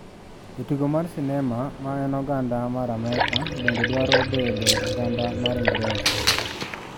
Jatugo mar sinema ma en oganada mar Amerka bende dwaro bedo oganda mar Ingresa.